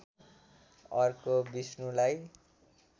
अर्को विष्णुलाई